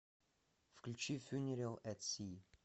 включи фьюнерал эт си